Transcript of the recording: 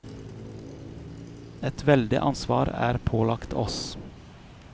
Et veldig ansvar er pålagt oss.